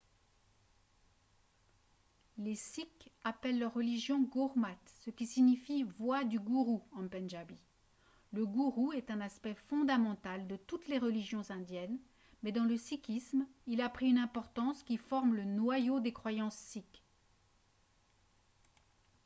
les sikhs appellent leur religion gurmat ce qui signifie « voie du gourou » en pendjabi. le gourou est un aspect fondamental de toutes les religions indiennes mais dans le sikhisme il a pris une importance qui forme le noyau des croyances sikhes